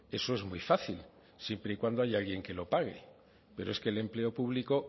eso es muy fácil siempre y cuando haya alguien que lo pague pero es que el empleo público